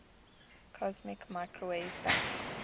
cosmic microwave background